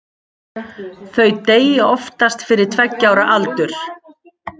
Þau deyja oftast fyrir tveggja ára aldur.